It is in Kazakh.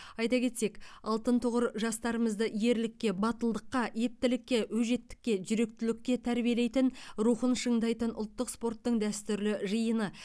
айта кетсек алтын тұғыр жастарымызды ерлікке батылдыққа ептілікке өжеттікке жүректілікке тәрбиелейтін рухын шыңдайтын ұлттық спорттың дәстүрлі жиыны